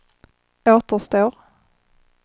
återstår